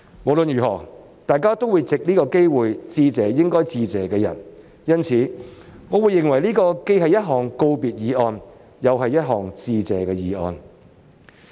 無論如何，大家都會藉此機會向應該致謝的人致意，因此，我認為這既是一項告別議案，又是—項致謝議案。